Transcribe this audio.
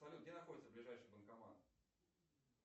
салют где находится ближайший банкомат